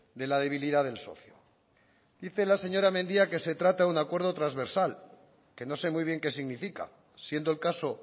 de la debilidad del socio dice la señora mendia que se trata de un acuerdo transversal que no sé muy bien qué significa siendo el caso